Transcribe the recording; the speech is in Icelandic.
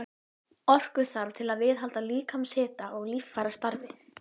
SOPHUS: En hvað um núverandi lögregluþjón?